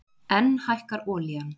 Enn hækkar olían